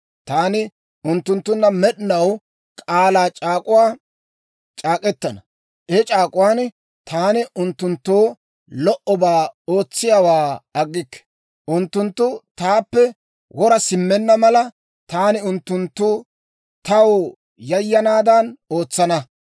Taani unttunttunna med'inaw k'aalaa c'aak'uwaa c'aak'k'etana. He c'aak'uwaan taani unttunttoo lo"obaa ootsiyaawaa aggikke; unttunttu taappe wora simmenna mala, taani unttunttu taw yayanaadan ootsana.